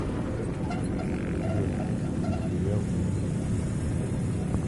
у тебя в списке есть сериал ривер третий сезон